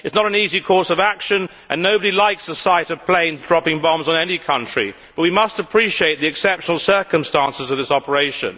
It is not an easy course of action and nobody likes the sight of planes dropping bombs on any country, but we must appreciate the exceptional circumstances of this operation.